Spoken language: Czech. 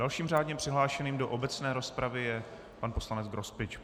Dalším řádně přihlášeným do obecné rozpravy je pan poslanec Grospič.